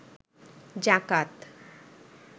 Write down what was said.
যাকাত